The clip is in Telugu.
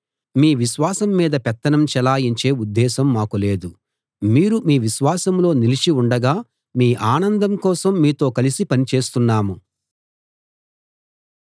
మీ విశ్వాసం మీద పెత్తనం చెలాయించే ఉద్దేశం మాకు లేదు మీరు మీ విశ్వాసంలో నిలిచి ఉండగా మీ ఆనందం కోసం మీతో కలిసి పని చేస్తున్నాము